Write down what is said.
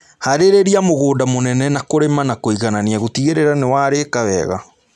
Harĩria mũgũnda mũnene na kũrĩma na kũiganania gũtigĩrĩra nĩwarika wega